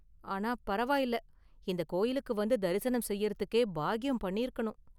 ஆனா பரவாயில்ல, இந்த கோயிலுக்கு வந்து தரிசனம் செய்யுறதுக்கே பாக்கியம் பண்ணிருக்கனும்.